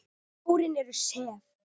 Hárin eru sef.